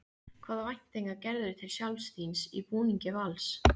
Hvaða væntingar gerirðu til sjálfs þíns í búningi Vals?